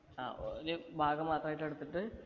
ആ ഒരു ഭാഗം മാത്രായിട്ട് എടുത്തിട്ട്